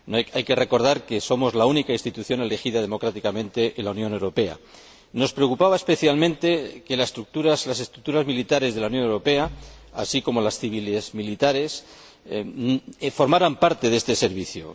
Hay que recordar que somos la única institución elegida democráticamente en la Unión Europea. Nos preocupaba especialmente que las estructuras militares de la Unión Europea, así como las civiles militares, formaran parte de este Servicio.